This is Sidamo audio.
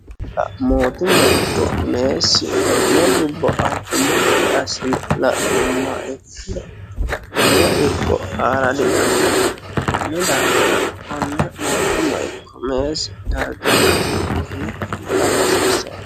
mootumma ikko meessi konne dubbo anfummo gade assine la'nummoha ikkiro lowo irko aara didandaanno konni daafira konne mootumma ikko meessi darga la'ne udume afa hasiissanno